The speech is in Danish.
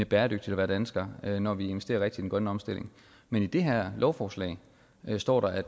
bæredygtigt at være dansker når vi investerer rigtigt grønne omstilling men i det her lovforslag står der at